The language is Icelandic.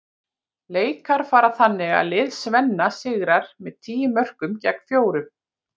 Leikar fara þannig að lið Svenna sigrar með tíu mörkum gegn fjórum.